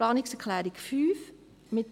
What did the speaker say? Planungserklärung 5